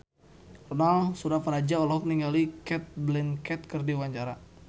Ronal Surapradja olohok ningali Cate Blanchett keur diwawancara